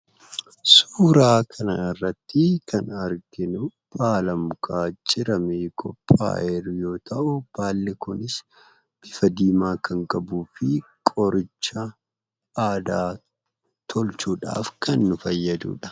Suuraa kana irratti kan arginuu, baala mukaa ciramee qophaa'ee jiru yoo ta'u, baalli kunis bifa diimaa kan qabuu fi qoricha aadaa tolchuudhaaf kan nu fayyaduudha.